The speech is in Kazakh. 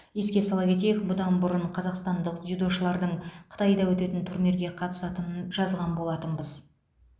еске сала кетейік бұдан бұрын қазақстандық дзюдошылардың қытайда өтетін турнирге қатысатынын жазған болатынбыз